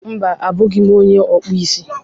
Mba, abụghị m onye okpụ isi.